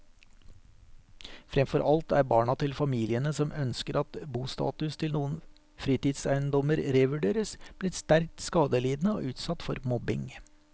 Fremfor alt er barna til familiene som ønsker at bostatus til noen fritidseiendommer revurderes, blitt sterkt skadelidende og utsatt for mobbing.